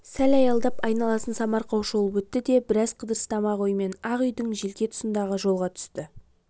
сәл аялдап айналасын самарқау шолып өтті де біраз қыдырыстамақ оймен ақ үйдің желке тұсындағы жолға түсті